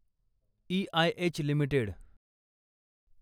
EIH limited